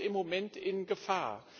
Und das ist im Moment in Gefahr.